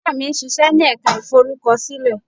Ìyá mi ń ṣíṣe ní ẹ̀ka ìforúkọsílẹ̀.